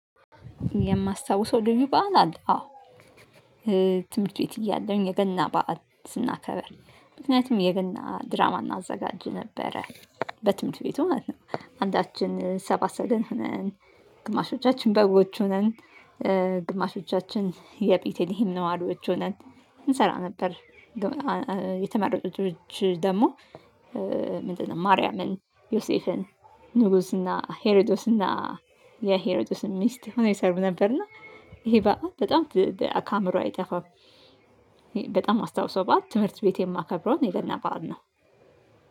የማስታውሰው ልዩ በዓል አለ አዎ። ትምህርት ቤት እያለሁኝ የገና በዓል ስናከብር። ምክንያቱም የገና ድራማ እናዘጋጅ ነበረ። በትምህርት ቤቱ ማለት ነው። አንዳችን ሰባ ሰገልን ሆነን፣ ግማሾቻችን በጎች ሆነን ግማሾቻችን የቤቴሊሄም ነዋሪዎች ሆነን እንሰራ ነበር። የተመረጡት ልጆች ደግሞ ምንድን ነው ማርያምን ዮሴፍን ንጉስና ሄሪዶስና የሄሪዶስን ሚስት ሆኖ ይሰሩ ነበር። እና ይሄ በዓል በጣም ከአእምሮዬ አይጠፋም። በጣም ማስታውሰው በዓል ትምህርት ቤት የማከብረውን የገና በዓል ነው።